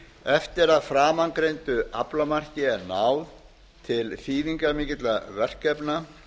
eftir að framangreindu aflamarki er náð til þýðingarmikilla verkefna